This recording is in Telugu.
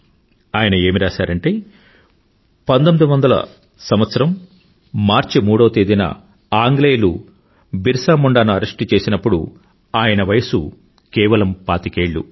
ఆయన ఏమి రాసారంటే 1900 మార్చి 3వ తేదీన ఆంగ్లేయులు బిర్సా ముండాను అరెస్టు చేసినప్పుడు ఆయన వయసు కేవలం పాతికేళ్ళు